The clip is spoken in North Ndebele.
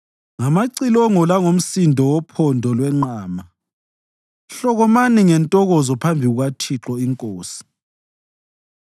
ngamacilongo langomsindo wophondo lwenqama hlokomani ngentokozo phambi kukaThixo, iNkosi.